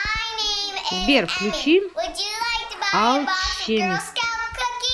сбер включи алчемист